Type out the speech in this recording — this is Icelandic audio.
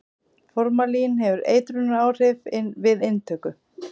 formalín hefur eitrunaráhrif við inntöku